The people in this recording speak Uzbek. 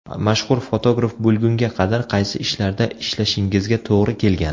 Mashhur fotograf bo‘lgunga qadar qaysi ishlarda ishlashingizga to‘g‘ri kelgan?